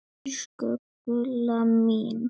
Elsku Gulla mín.